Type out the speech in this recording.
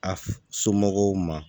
A somɔgɔw ma